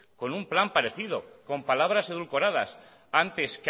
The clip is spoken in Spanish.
con un plan parecido con palabras edulcoradas antes